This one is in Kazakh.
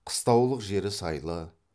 қыстаулық жері сайлы